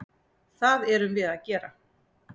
Það erum við að gera.